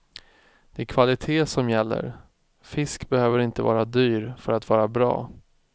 Det är kvalitet som gäller, fisk behöver inte vara dyr för att vara bra.